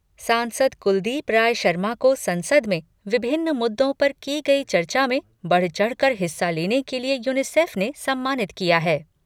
सांसद कुलदीप राय शर्मा को संसद में विभिन्न मुद्दों पर की गई चर्चा में बढ़ चढ़कर हिस्सा लेने के लिए यूनिसेफ ने सम्मानित किया है।